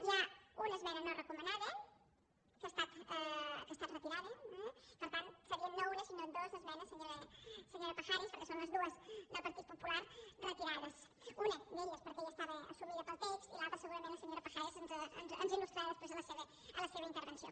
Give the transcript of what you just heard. hi ha una esmena no recomanada que ha estat retirada eh per tant seria no una sinó dues esmenes senyora pajares perquè són les dues del partit popular retirades una d’elles perquè ja estava assumida pel text i l’altra segurament la senyora pajares ens il·lustrarà després a la seva intervenció